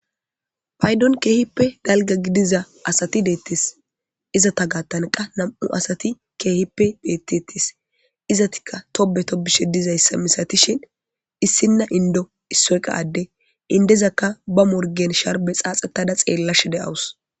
Payidon kehipe daliga gidiza asati detes izata gatan qa nam'u asati kehipe betetes izatika tobe tobishe dizayisa misatishe issina indo issoy qa adde indezaka bamorigen sharibe xaxetada xelashe deawus.